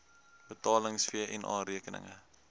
betaling vna rekeninge